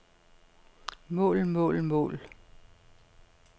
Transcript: mål mål mål